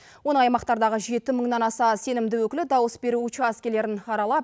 оның аймақтардағы жеті мыңнан аса сенімді өкілі дауыс беру учаскелерін аралап